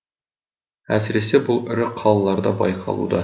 әсіресе бұл ірі қалаларда байқалуда